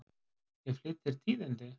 Ég flyt þér tíðindi!